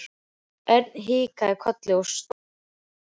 Örn kinkaði kolli og stóð upp.